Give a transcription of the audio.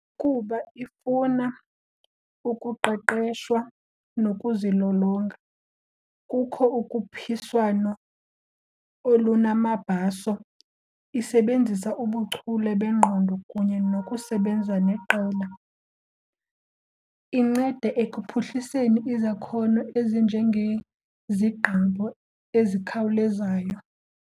Kuba ifuna ukuqeqeshwa nokuzilolonga, kukho ukhuphiswano olunamabaso. Isebenzisa ubuchule bengqondo kunye nokusebenza neqela. Inceda ekuphuhliseni izakhono ezinjengezigqibo ezikhawulezayo.